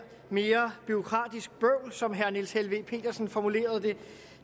mere bureaukratisk bøvl som herre niels helveg petersen formulerede det